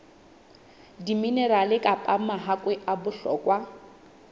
diminerale kapa mahakwe a bohlokwa